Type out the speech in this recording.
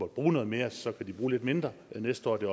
bruge noget mere og så kan de bruge lidt mindre næste år det